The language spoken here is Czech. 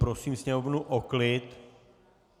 Prosím sněmovnu o klid.